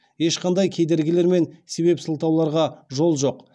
ешқандай кедергілер мен себеп сылтауларға жол жоқ